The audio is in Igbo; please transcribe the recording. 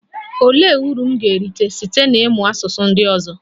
Olee uru m ga-erite site n'ịmụ asụsụ ndị ọzọ?